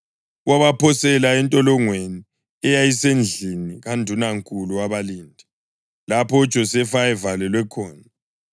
wabaphosela entolongweni eyayisendlini kandunankulu wabalindi, lapho uJosefa ayevalelwe khona.